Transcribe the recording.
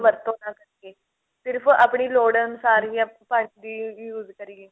ਦੁਰਵਰਤੋਂ ਨਾ ਕਰੀਏ ਸਿਰਫ਼ ਆਪਣੀ ਲੋੜ ਅਨੁਸਾਰ ਹੀ ਆਪਾਂ ਪਾਣੀ ਦੀ use ਕਰੀਏ